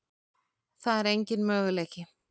Það er engin möguleiki.